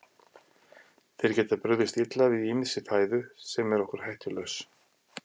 Þeir geta brugðist illa við ýmissi fæðu sem er okkur hættulaus.